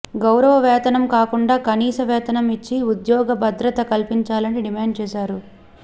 గౌరవ వేతనం కాకుండా కనీస వేతనం ఇచ్చి ఉద్యోగ భద్రత కల్పించాలని డిమాండ్ చేశారు